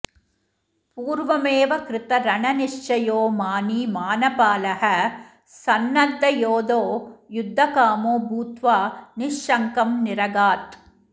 पूर्वमेव कृतरणनिश्चयो मानी मानपालः संनद्धयोधो युद्धकामो भूत्वा निःशङ्कं निरगात्